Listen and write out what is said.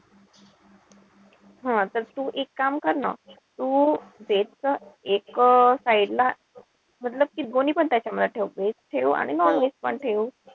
हं तर तू एक काम कर ना. तू एक एक side ला कि दोन्हीपण त्याच्यामध्ये ठेव. Veg ठेव आणि non-veg पण ठेव.